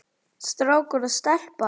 Strákur og stelpa.